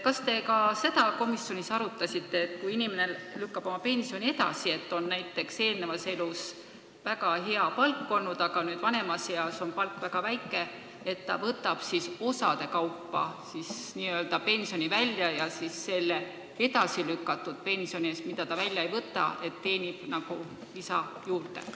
Kas te ka seda komisjonis arutasite, et kui inimene lükkab oma pensionile mineku edasi ja tal on varasemas elus väga hea palk olnud, aga nüüd vanemas eas on palk väga väike, et ta võtab siis osade kaupa oma pensioni välja ja selle edasilükatud pensioni eest, mida ta välja ei võta, teenib nagu lisa juurde?